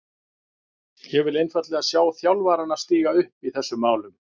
Ég vil einfaldlega sjá þjálfarana stíga upp í þessum málum.